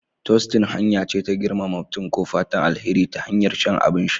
Tostin hanya ce ta girmama mutum ko fatan alheri ta hanyar shan abin sha